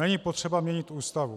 Není potřeba měnit Ústavu.